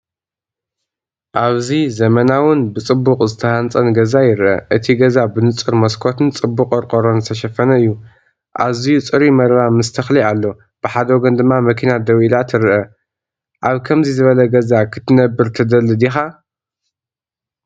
ኣብዚ ዘመናውን ብጽቡቕ ዝተሃንጸን ገዛ ይርአ። እቲ ገዛ ብንጹር መስኮትን ጽቡቕ ቆርቆሮን ዝተሸፈነ እዩ። ኣዝዩ ጽሩይ መረባ ምስ ተክሊ ኣሎ፡ ብሓደ ወገን ድማ መኪና ደው ኢላ ትርአ። ኣብ ከምዚ ዝበለ ገዛ ክትነብር ትደሊ ዲኻ?